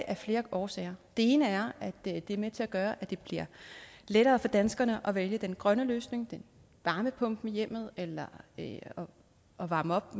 af flere årsager den ene er at det er med til at gøre at det bliver lettere for danskerne at vælge den grønne løsning varmepumpen i hjemmet eller at at varme op